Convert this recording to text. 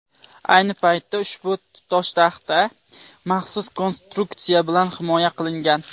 Ayni paytda ushbu toshtaxta maxsus konstruksiya bilan himoya qilingan.